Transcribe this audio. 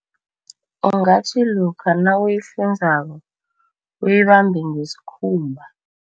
Ungathi lokha nawuyifunzako uyibambe ngesikhumba.